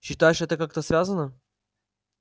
считаешь это как-то связано